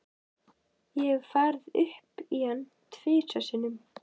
Ég hef farið upp í hann tvisvar sinnum.